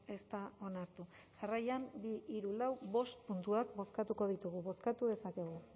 ez da onartu jarraian bi hiru lau bost puntuak bozkatuko ditugu bozkatu dezakegu